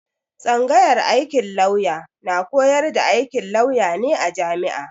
Tsanyagar aikin lauya na koyar da aikin lauya ne a jami'a.